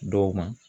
Dɔw ma